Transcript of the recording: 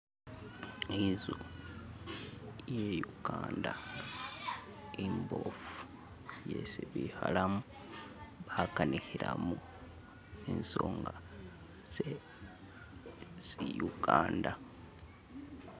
Inzu ili kukanda imboofu yesi bikhalamu bakanikhilamo isonga tse si uganda